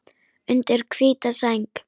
Undir hvíta sæng.